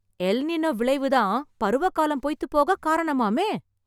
L Nino விளைவு தான், பருவ காலம் பொய்த்துப் போக காரணமாமே !